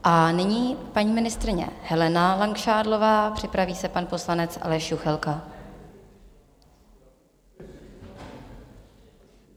A nyní paní ministryně Helena Langšádlová, připraví se pan poslanec Aleš Juchelka.